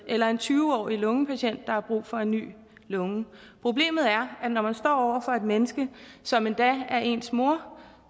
eller en tyve årig lungepatient der har brug for en ny lunge problemet er at når man står over for et menneske som endda er éns mor